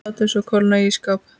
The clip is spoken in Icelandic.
Látið svo kólna í ísskáp.